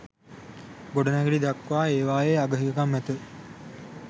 ගොඩනැගිලි දක්වා ඒවායේ අග හිඟකම් ඇත.